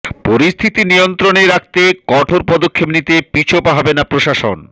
পরিস্থিতি নিয়ন্ত্রণে রাখতে কঠোর পদক্ষেপ নিতে পিছপা হবে না প্রশাসন